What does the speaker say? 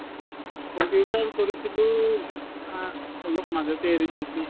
computer কৰিছিলো উম আ অলপ মাজতে এৰি দিছো